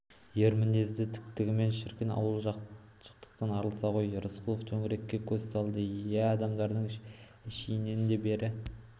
ер мінезді тіктігі шіркін ауыл жақтықтан арылса ғой рысқұлов төңірекке көз салады иә адамдардың әшейінде бәрі